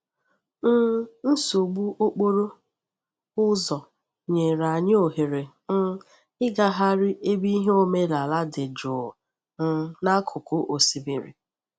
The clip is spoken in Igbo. um Nsogbu okporo ụzọ nyere anyị ohere um ịgagharị ebe ihe omenaala dị jụụ um n'akụkụ osimiri.